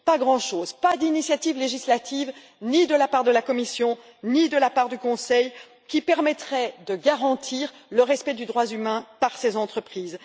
Pas grand chose pas d'initiatives législatives ni de la part de la Commission, ni de la part du Conseil qui permettraient de garantir le respect des droits de l'homme par ces entreprises.